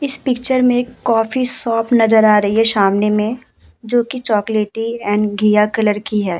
इस पिक्चर मे एक कॉफी शॉप नजर आ रही है सामने मे जो कि चॉकलेटी एण्ड घिया कलर की है।